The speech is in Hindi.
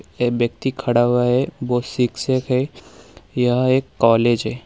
एक व्यक्ति खड़ा हुआ है वो शिक्षक है यह एक कॉलेज है।